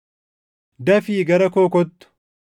Dafii gara koo kottu;